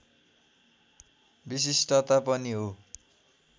विशिष्टता पनि हो